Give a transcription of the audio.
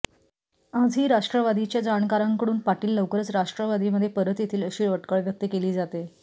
आजही राष्ट्रवादीच्या जाणकारांकडून पाटील लवकरच राष्ट्रवादीमध्ये परत येतील अशी अटकळ व्यक्त केली जाते